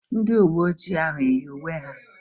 Ndị uwe ojii ahụ eyi uwe ha?